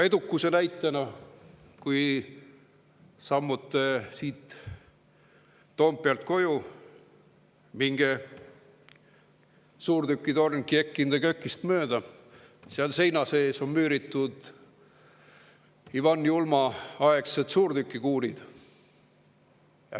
Edukuse näitena: kui sammute Toompealt koju, minge mööda suurtükitorn Kiek in de Kökist, mille seina sisse on müüritud Ivan Julma aegsed suurtükikuulid.